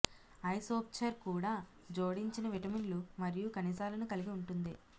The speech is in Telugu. ఐసోప్చర్ కూడా జోడించిన విటమిన్లు మరియు ఖనిజాలను కలిగి ఉంటుంది